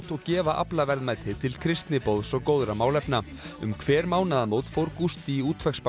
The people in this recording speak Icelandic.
og gefa aflaverðmætið til kristniboðs og góðra málefna um hver mánaðamót fór Gústi í